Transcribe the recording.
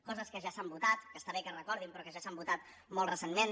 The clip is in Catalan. coses que ja s’han votat que està bé que es recordin però que ja s’han votat molt recentment